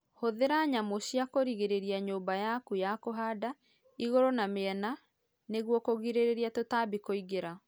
Hũthĩra nyamũ cia kũrigĩrĩria nyũmba yaku ya kũhanda igũrũ na miena nĩguo kũgirĩrĩria tũtambi kũingĩra